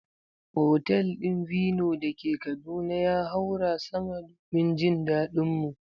Otal din Vino dake Kaduna ya haura sama domin jin daɗin mu.